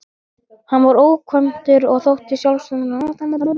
Hann var ókvæntur og þótti sjálfsagður arftaki föður síns.